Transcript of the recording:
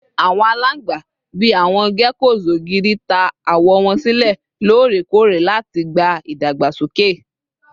Awọn alangba, bii awọn geckos ogiri, ta awọ wọn silẹ lorekore lati gba idagbasoke